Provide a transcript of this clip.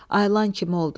Ayılan kimi oldu.